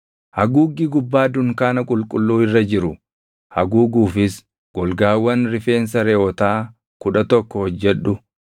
“Haguuggii gubbaa dunkaana qulqulluu irra jiru haguuguufis golgaawwan rifeensa reʼootaa kudha tokko hojjedhu.